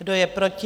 Kdo je proti?